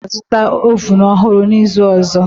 Mama m ga-azụta oven ọhụrụ n'izu ọzọ